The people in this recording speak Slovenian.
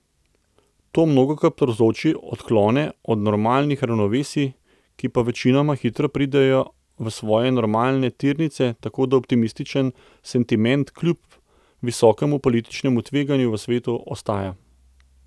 To mnogokrat povzroči odklone od normalnih ravnovesij, ki pa večinoma hitro pridejo v svoje normalne tirnice, tako da optimističen sentiment, kljub visokemu političnemu tveganju v svetu, ostaja.